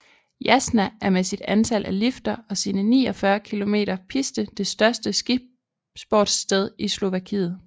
Jasná er med sit antal af lifter og sine 49 km piste det største skisportssted i Slovakiet